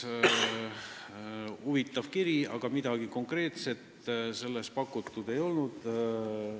See oli huvitav kiri, aga selles ei pakutud välja midagi konkreetset.